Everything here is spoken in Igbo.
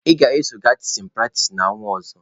Ị ga-eso gaa tichin pratis n'ọnwa ọzọ!